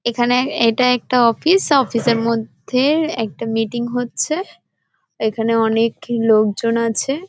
এখানে এটা একটা অফিস অফিস এর মধ্যে একটা মিটিং হচ্ছে। এখানে অনেক লোকজন আছে ।